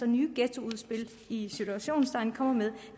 nye ghettoudspil i citationstegn kommer med